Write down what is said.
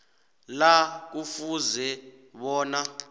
la kufuze bona